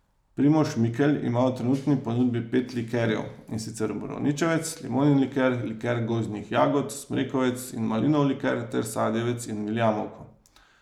Primož Mikelj ima v trenutni ponudbi pet likerjev, in sicer borovničevec, limonin liker, liker gozdnih jagod, smrekovec in malinov liker ter sadjevec in viljamovko.